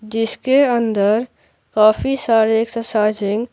जिसके अंदर काफी सारे एक्सरसाइजिंग --